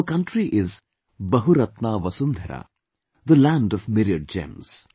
Our country is 'Bahuratna vasundhara' ... the land of myriad gems